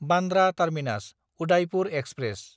Bandra टार्मिनास–उदायपुर express